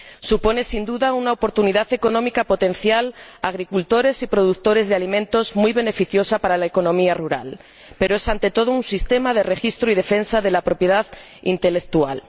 Supone, sin duda, una oportunidad económica potencial para agricultores y productores de alimentos, muy beneficiosa para la economía rural, pero es, ante todo, un sistema de registro y defensa de la propiedad intelectual